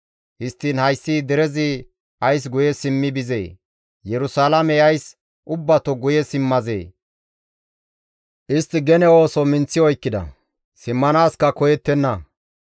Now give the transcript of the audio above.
Histtiin hayssi derezi ays guye simmi bizee? Yerusalaamey ays ubbato guye simmazee? Istti gene ooso minththi oykkida; simmanaaska koyettenna.